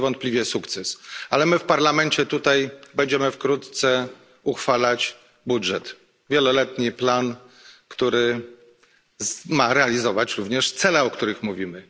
To niewątpliwie sukces, ale my w Parlamencie tutaj będziemy wkrótce uchwalać budżet, wieloletni plan, mający realizować również cele, o których mówimy.